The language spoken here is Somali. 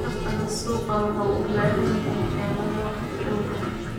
Tartanka suuqa waxa uu u baahan yahay xeelado wax ku ool ah.